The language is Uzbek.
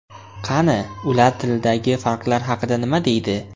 Qani, ular tildagi farqlar haqida nima deydi?